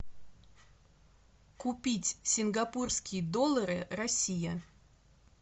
купить сингапурские доллары россия